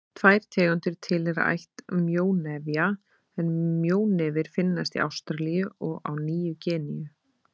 Tvær tegundir tilheyra ætt mjónefja en mjónefir finnast í Ástralíu og á Nýju-Gíneu.